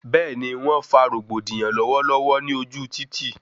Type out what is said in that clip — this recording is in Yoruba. Bẹẹni, wọn fa rògbòdìyàn lọwọlọwọ ní ojú títì